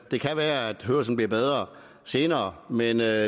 det kan være at hørelsen bliver bedre senere men det er